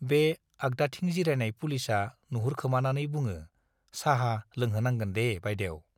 बे आग्दाथिं जिरायनाय पुलिसआ नुहुरखोमानानै बुङो, साहा लोंहोनांगोन दे बाइदेउ।